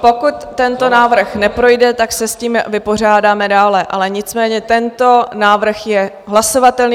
Pokud tento návrh neprojde, tak se s tím vypořádáme dále, ale nicméně tento návrh je hlasovatelný.